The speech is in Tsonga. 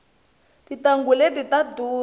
tintanghu leti ta durha